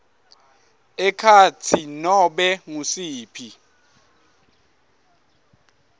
ekhatsi nobe ngusiphi